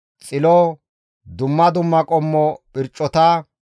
Xilo, dumma dumma qommo phircota.